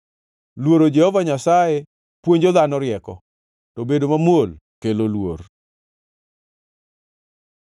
Luoro Jehova Nyasaye puonjo dhano rieko, to bedo mamuol kelo luor.